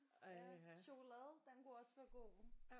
Ja chokolade den kunne også være god